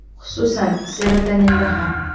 Xususan, serotoninda ham.